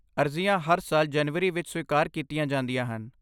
ਅਰਜ਼ੀਆਂ ਹਰ ਸਾਲ ਜਨਵਰੀ ਵਿੱਚ ਸਵੀਕਾਰ ਕੀਤੀਆਂ ਜਾਂਦੀਆਂ ਹਨ।